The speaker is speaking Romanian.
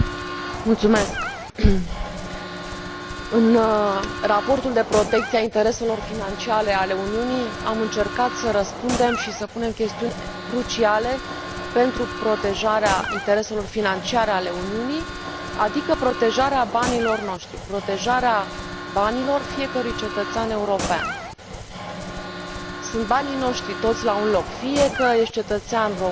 Doamnă președinte, în Raportul privind protecția a intereselor financiare ale Uniunii am încercat să răspundem și să includem chestiuni cruciale pentru protejarea intereselor financiare ale Uniunii, adică protejarea banilor noștri, protejarea banilor fiecărui cetățean european. Sunt banii noștri, toți la un loc, fie că ești cetățean român,